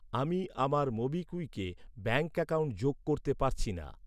আমি আমার মোবিকুইকে ব্যাঙ্ক অ্যাকাউন্ট যোগ করতে পারছি না।